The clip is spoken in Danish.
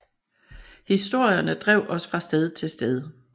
Historierne drev os fra sted til sted